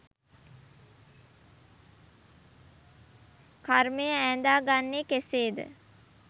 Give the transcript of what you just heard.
කර්මය ඈඳාගන්නේ කෙසේද?